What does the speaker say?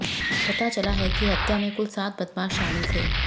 पता चला है कि हत्या में कुल सात बदमाश शामिल थे